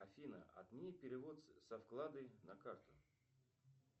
афина отмени перевод со вклада на карту